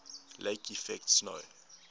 lake effect snow